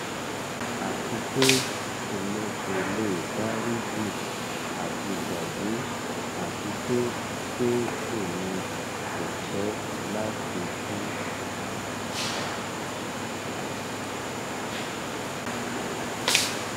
ati pe emi ko le dariji ati gbagbe ati pe pe emi ko fẹ lati tun